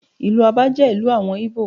Ìlú Abá jẹ́ ìlú àwọn Ìgbò.